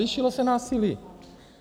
Zvýšilo se násilí.